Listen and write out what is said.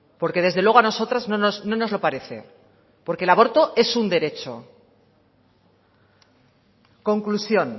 porque desde luego a nosotras no nos lo parece porque el aborto es un derecho conclusión